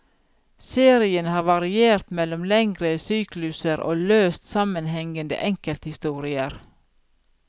Serien har variert mellom lengre sykluser og løst sammenhengende enkelthistorier.